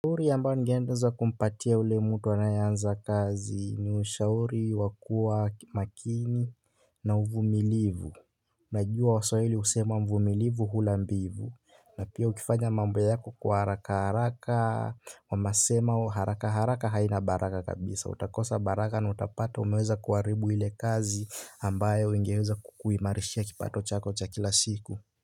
Shauri ambayo nimgeeza kumpatia ule mtu anayeanza kazi ni ushauri wa kuwa makini na uvumilivu. Najua waswahili usema mvumilivu hula mbivu. Na pia ukifanya mambo yako kwa haraka haraka. Wanasema haraka haraka haina baraka kabisa utakosa baraka na utapata umeweza kuharibu ile kazi ambayo ingeweza kukuimarishia kipato chako cha kila siku.